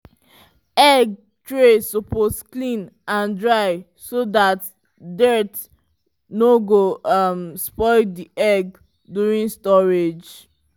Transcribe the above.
egg tray suppose clean and dry so that dirt no go um spoil the egg during storage.